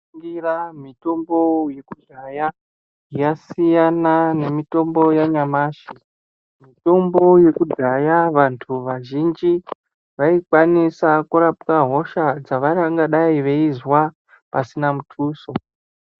Ngira mitombo yekudhaya yasina nemitombo yanyamashi, mitombo yekudhaya vantu vazhinji vaikwanisa kurapwa hosha dzavangadai vechinzwa pasina mutuso.